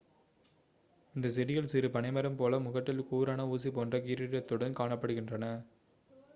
இந்த செடிகள் சிறு பனைமரம் போல முகட்டில் கூரான ஊசி போன்ற கிரீடத்துடன் காணப்படுகின்றன